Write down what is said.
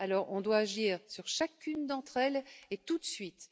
Alors, nous devons agir sur chacune d'entre elles et tout de suite.